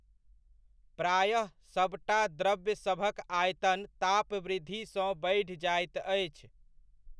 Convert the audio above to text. प्रायः सभटा द्रव्यसभक आयतन तापवृद्धि सँ बढि जाइत अछि।